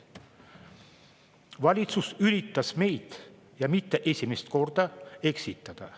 Valitsus üritas meid, ja mitte esimest korda, eksitada.